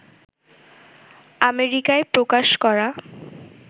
আমেরিকায় প্রকাশ করা